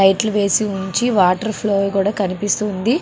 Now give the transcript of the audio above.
లైట్లు వేసి ఉంచి వాటర్ ఫ్లోయంగ్ కూడా కనిపిస్తూ ఉంది.